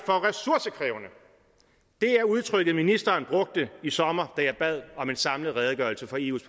for ressourcekrævende var udtrykket ministeren brugte i sommer da jeg bad om en samlet redegørelse for eus